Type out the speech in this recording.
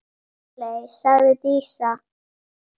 Sóley, sagði Dísa.